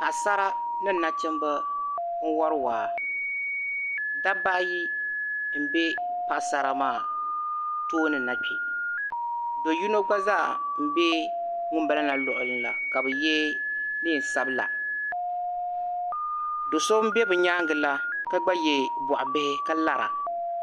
Paɣsara ni nachimba n wari waa dabba ayi m be Paɣsara maa tooni na do yino gba zaa m be ŋumbala la luɣuli la ka yɛ neen sabila do so m be bɛ nyaanga la ka gba yɛ bɔɣu waɣila